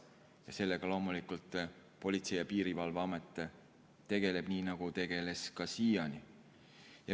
Ja sellega loomulikult Politsei- ja Piirivalveamet tegeleb, nii nagu tegeles ka siiani.